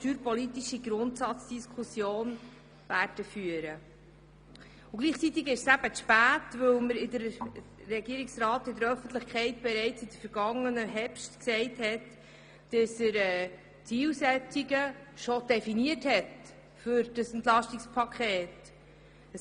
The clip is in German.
Gleichzeitig erfolgt sie zu spät, weil der Regierungsrat in der Öffentlichkeit schon im vergangenen Herbst gesagt hat, dass er die Zielsetzungen des Entlastungspakets bereits definiert habe.